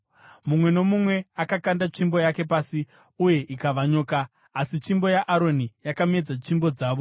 Mumwe nomumwe akakanda tsvimbo yake pasi uye ikava nyoka. Asi tsvimbo yaAroni yakamedza tsvimbo dzavo.